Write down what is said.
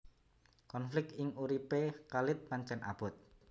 Konflik ing uripé Khalid pancèn abot